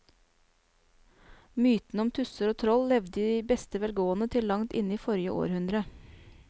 Mytene om tusser og troll levde i beste velgående til langt inn i forrige århundre.